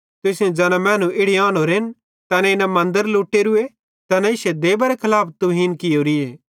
तुसेईं ज़ैना मैनू इड़ी आनोरेन तैनेईं न मन्दरे लुटेरूए न इश्शी देबारे खलाफ तुहीन कियोरीए